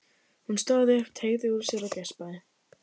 Hún stóð upp, teygði úr sér og geispaði.